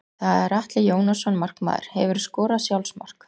Það er Atli Jónasson markmaður Hefurðu skorað sjálfsmark?